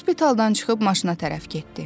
Hospitaldan çıxıb maşına tərəf getdi.